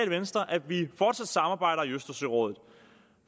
venstre at vi fortsat samarbejder i østersørådet